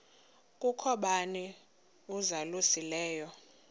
kukho bani uzalusileyo